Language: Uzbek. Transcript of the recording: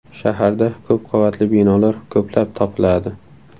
Shaharda ko‘p qavatli binolar ko‘plab topiladi.